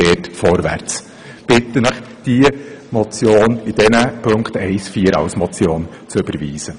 Ich bitte Sie, den Vorstoss in den Punkten 1 und 4 als Motion zu überweisen.